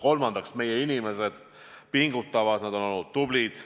Kolmandaks, meie inimesed pingutavad, nad on olnud tublid.